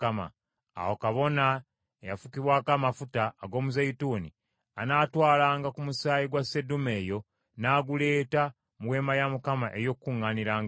Awo kabona eyafukibwako amafuta ag’omuzeeyituuni anaatwalangako ku musaayi gwa sseddume eyo n’aguleeta mu Weema ey’Okukuŋŋaanirangamu.